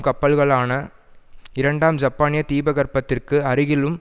கப்பல்களான இரண்டாம் ஜப்பானின் தீபகற்பத்திற்கு அருகிலும்